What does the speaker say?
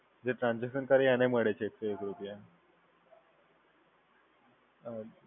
જે ટ્રાન્સઝેકશન કરે એને મળે છે એક સો એક રૂપિયા? હમ